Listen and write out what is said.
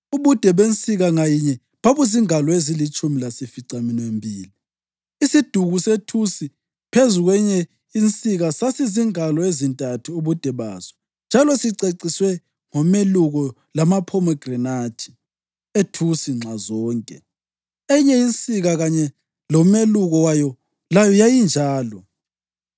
Ubude bensika ngayinye babuzingalo ezilitshumi lasificaminwembili. Isiduku sethusi phezu kwenye insika sasizingalo ezintathu ubude baso njalo siceciswe ngomeluko lamaphomegranathi ethusi nxazonke. Eyinye insika kanye lomeluko wayo layo yayinjalo.